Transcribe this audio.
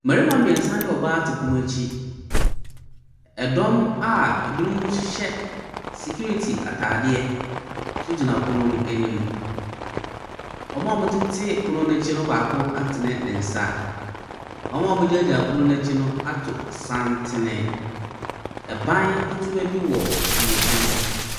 Mmarima mmiɛnsa ne ɔbaa te pono akyi. Ɛdɔm a ɛbinom hyɛehyɛ sikiriti ataadeɛ so gyina pono no anim. Ɔmoa ɔmotete pono n'akyi no baako atene ne nsa. Ɔmoa ɔmo gyinagyina pono n'akyi no ato santene. Ɛban ketewa bi wɔ ɔmo nkyɛn hɔ.